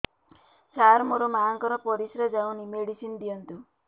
ସାର ମୋର ମାଆଙ୍କର ପରିସ୍ରା ଯାଉନି ମେଡିସିନ ଦିଅନ୍ତୁ